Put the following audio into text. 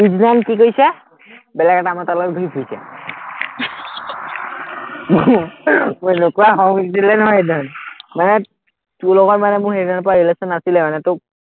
পিচদিনাখন কি কৰিছে, বেলেগ এটা মতাৰ গত ঘুৰি ফুৰিছে মোৰ এনেকুৱা খং উঠিছিলে নহয়, সেইদিনাখন, মানে তোৰ লগত মানে সেইদিনাখনৰপৰা relation নাছিলে মানে তোক